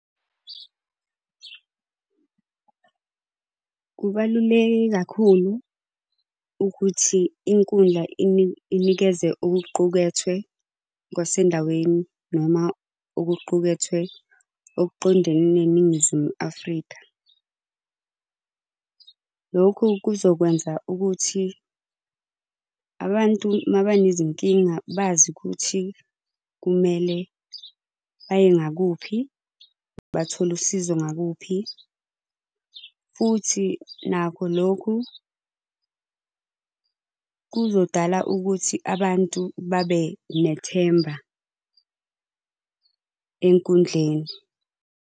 Kubaluleke kakhulu ukuthi inkundla inikeze okuqukethwe kwasendaweni noma okuqukethwe okuqondene neNingizimu Afrika. Lokhu kuzokwenza ukuthi, abantu mabanezi nkinga bazi ukuthi kumele baye ngakuphi, bathole usizo ngakuphi. Futhi nakho lokhu kuzodala ukuthi abantu babe nethemba ey'nkundleni.